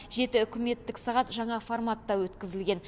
жеті үкіметтік сағат жаңа форматта өткізілген